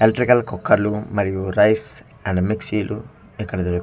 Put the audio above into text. Electrical కుక్కర్లు మరియు rice and మిక్సీలు ఇక్కడ లేవ్.